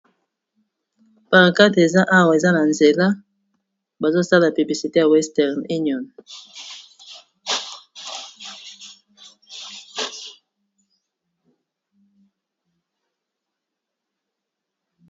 Pancarte eza awa eza na nzela, bazo sala publicité ya western union .